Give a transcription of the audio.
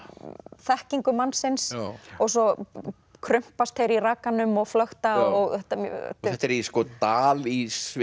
þekkingu mannsins og svo krumpast þeir í rakanum og flökta þetta er í dal í Sviss